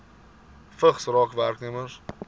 vigs raak werknemers